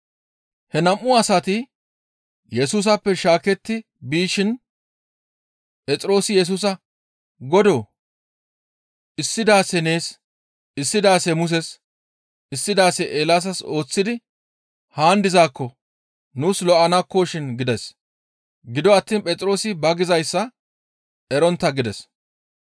He nam7u asati Yesusappe shaaketti bishin Phexroosi Yesusa, «Godoo! Issi daase nees, issi daase Muses, issi daase Eelaasas ooththidi haan dizaakko nuus lo7okkoshin» gides; gido attiin Phexroosi ba gizayssa erontta gides.